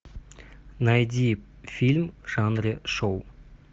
найди фильм в жанре шоу